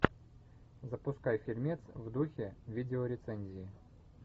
запускай фильмец в духе видеорецензии